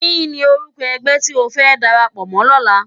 Kini órúkò ègbè ti ó fè dàrápò mò lòlá?